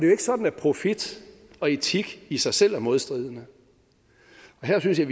jo ikke sådan at profit og etik i sig selv er modstridende her synes jeg